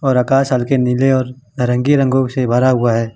और आकाश हल्के नीले और रंगे रंगों से भरा हुआ है।